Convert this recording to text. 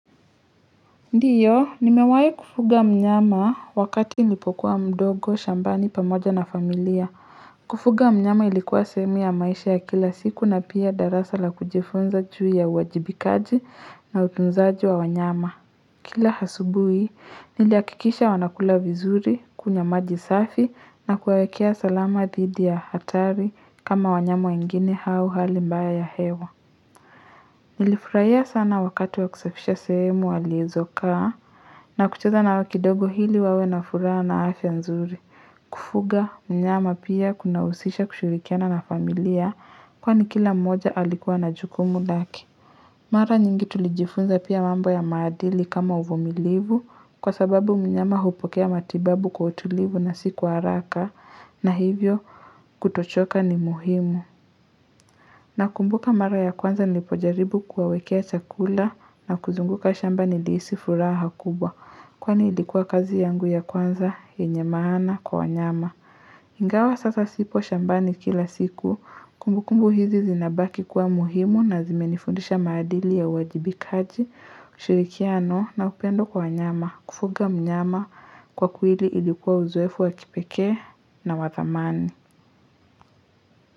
Ndio, nimewahi kufuga mnyama wakati nipokuwa mdogo, shambani, pamoja na familia. Kufuga mnyama ilikuwa sehemu ya maisha ya kila siku na pia darasa la kujifunza juu ya uwajibikaji na utunzaji wa wanyama. Kila asubuhi, nilihakikisha wanakula vizuri, kunywa maji safi na kuwawekea salama dhidi ya hatari kama wanyama wengini au hali mbaya ya hewa. Nilifururahia sana wakati wa kusafisha sehemu walizokaa na kucheza nao kidogo ili wawe na furaha na afya nzuri. Kufuga mnyama pia kuna husisha kushirikiana na familia kwa ni kila mmoja alikuwa na jukumu lake. Mara nyingi tulijifunza pia mambo ya maadili kama uvumilivu kwa sababu mnyama hupokea matibabu kwa utulivu na si kwa haraka na hivyo kutochoka ni muhimu. Na kumbuka mara ya kwanza nilipojaribu kuwawekea chakula na kuzunguka shamba nilihisi furaha kubwa, kwani ilikuwa kazi yangu ya kwanza, yenye maana, kwa wanyama. Ingawa sasa sipo shambani kila siku, kumbukumbu hizi zinabaki kuwa muhimu na zimenifundisha maadili ya uwajibikaji, ushirikiano na upendo kwa wanyama, kufuga mnyama kwa kwili ilikuwa uzoefu wakipekee na wathamani.